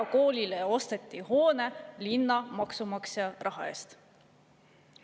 Erakoolile osteti hoone linna maksumaksja raha eest!